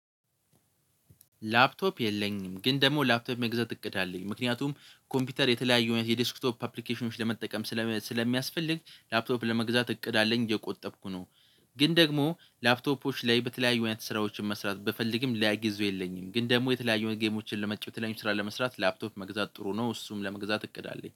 ላፕቶፕ የለኝም። ግን ደግሞ ላፕቶፕ መግዛት እቅድ አለኝ ምክንያቱም ኮምፒውተር የተለያዩ የዲስክቶፕ አፕሊኬሽኖች ለመጠቀም ስለሚያስፈልግ ላፕቶፕ ለመግዛት እቅድ አለኝ እየቆጠብኩ ነው። ግን ደግሞ ላፕቶፖች ላይ በተለያዩ አይነት ስራዎችን መስራት ብፈልግም ለጊዜው የለኝም። ግን ደግሞ የተለያዩ ጌሞችን ለመጫወት የተለያዩ ስራ ለመስራት ላፕቶፕ መግዛት ጥሩ ነው። እሱም ለመግዛት እቅድ አለኝ